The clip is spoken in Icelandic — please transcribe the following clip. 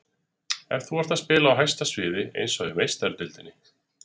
Ef þú ert að spila á hæsta sviði, eins og í Meistaradeildinni.